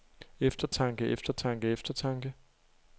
eftertanke eftertanke eftertanke